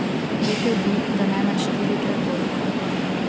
Rekel bi, da najmanj štirikrat toliko.